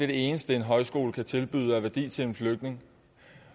det eneste en højskole kan tilbyde af værdi til en flygtning